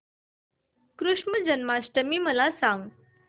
कृष्ण जन्माष्टमी मला सांग